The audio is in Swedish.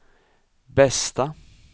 bästa